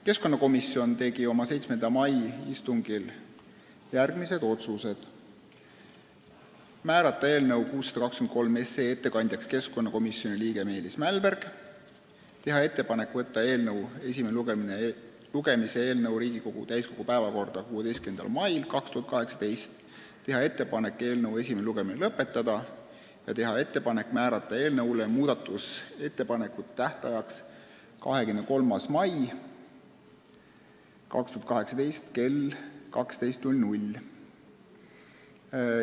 Keskkonnakomisjon tegi oma 7. mai istungil järgmised otsused: määrata eelnõu 623 ettekandjaks komisjoni liige Meelis Mälberg, teha ettepanek võtta eelnõu esimeseks lugemiseks Riigikogu täiskogu päevakorda 16. maiks, teha ettepanek esimene lugemine lõpetada ja määrata muudatusettepanekute tähtajaks 23. mai 2018 kell 12.